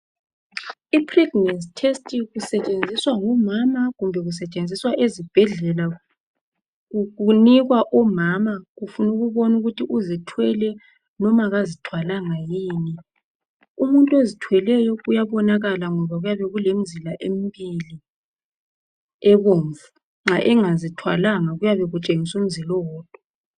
Ipregnancy test isentshenziswa ngomama kumbe isentshenziswa ezibhedlela. Kunikwa umama kufunwa ukubona ukuthi uzithwele noma kazithwalanga yini. Umuntu ozithweleyo kuyabonakala ngoba kuyabe kulemizila emibili ebomvu, nxa engazithwalanga kuyabe kutshengisa umzila owodwa.